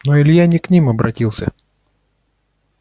но илья не к ним обратился